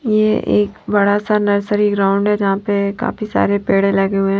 ये एक बड़ा सा नर्सरी ग्राउंड है जहां पे काफी सारे पेड़े लगे हुए--